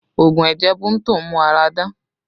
Oogun ẹ̀jẹ̀ Bunto ń mú ara dán